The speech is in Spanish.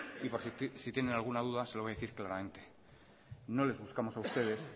y por si tienen alguna duda se lo voy a decir claramente no les buscamos a ustedes